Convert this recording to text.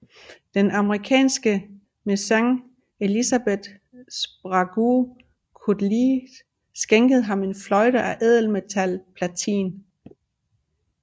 Den amerikanske mæcen Elizabeth Sprague Coolidge skænkede ham en fløjte af ædelmetallet platin